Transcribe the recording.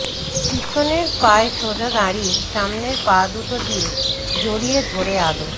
পিছনের পায়ে সোজা দাঁড়িয়ে সামনের পা দুটো দিয়ে জড়িয়ে ধরে আদর